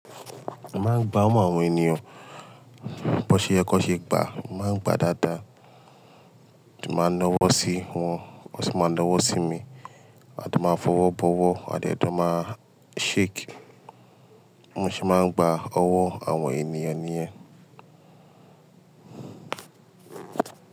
Mo máa ń gba mọ àwọn ènìyàn, bó ṣe yẹ kó ṣe gbà, a máa ń gbà dáadáa. Ti bá a ń náa wọ́ sí wọn, wón sì máa ń náa wọ́ sí mi. A tun máa fọwọ́ bọ́wọ́, a dẹ̀ jo máa shake. Bi mo se máa ń gba ọwọ́ àwọn ènìyàn níyẹn.